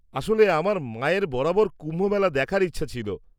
-আসলে আমার মায়ের বরাবর কুম্ভমেলা দেখার ইচ্ছে ছিল।